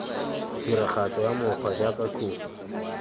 tiragatso ya mokgwa jaaka khophi